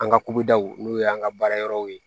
An ka kubidaw n'u y'an ka baarayɔrɔw ye